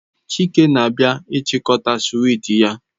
Chike na-abia ichikota swiiti ya